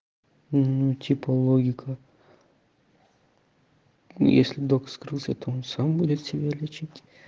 ну типа логика если док скрылся то он сам будет себя лечить